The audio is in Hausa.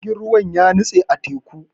Jirgin ruwan ya nitse a teku.